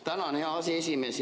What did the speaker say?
Tänan, hea aseesimees!